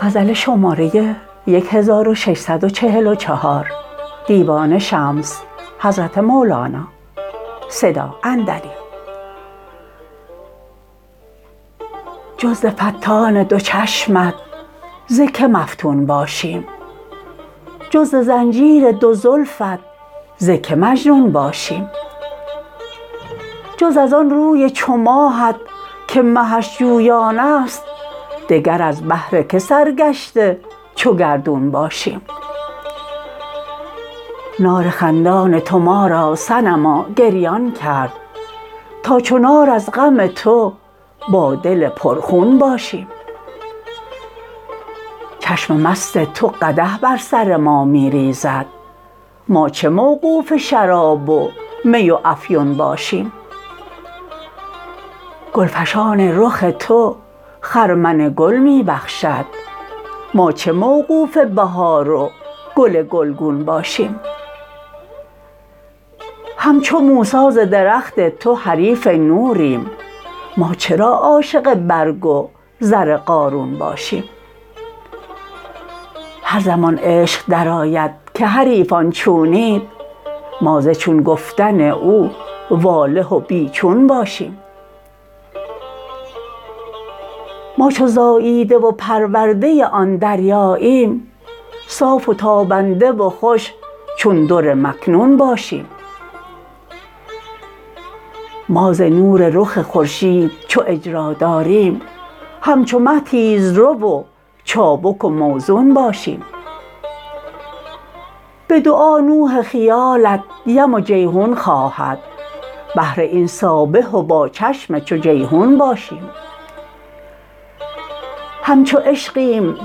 جز ز فتان دو چشمت ز کی مفتون باشیم جز ز زنجیر دو زلفت ز کی مجنون باشیم جز از آن روی چو ماهت که مهش جویان است دگر از بهر که سرگشته چو گردون باشیم نار خندان تو ما را صنما گریان کرد تا چو نار از غم تو با دل پرخون باشیم چشم مست تو قدح بر سر ما می ریزد ما چه موقوف شراب و می و افیون باشیم گلفشان رخ تو خرمن گل می بخشد ما چه موقوف بهار و گل گلگون باشیم همچو موسی ز درخت تو حریف نوریم ما چرا عاشق برگ و زر قارون باشیم هر زمان عشق درآید که حریفان چونید ما ز چون گفتن او واله و بی چون باشیم ما چو زاییده و پرورده آن دریاییم صاف و تابنده و خوش چون در مکنون باشیم ما ز نور رخ خورشید چو اجرا داریم همچو مه تیزرو و چابک و موزون باشیم به دعا نوح خیالت یم و جیحون خواهد بهر این سابح و با چشم چو جیحون باشیم همچو عشقیم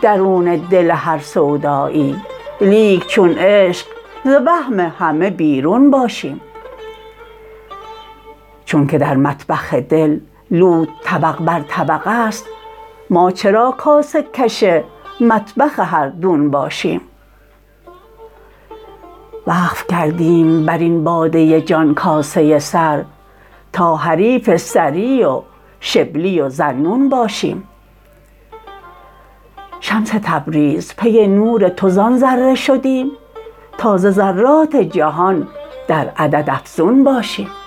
درون دل هر سودایی لیک چون عشق ز وهم همه بیرون باشیم چونک در مطبخ دل لوت طبق بر طبق است ما چرا کاسه کش مطبخ هر دون باشیم وقف کردیم بر این باده جان کاسه سر تا حریف سری و شبلی و ذاالنون باشیم شمس تبریز پی نور تو زان ذره شدیم تا ز ذرات جهان در عدد افزون باشیم